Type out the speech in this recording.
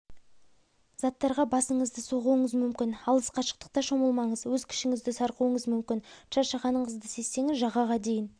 заттарға басыңызды соғуыңыз мүмкін алыс қашықтықта шомылмаңыз өз күшіңізді сарқуыңыз мүмкін шаршағандығыңызды сезсеңіз жағаға дейін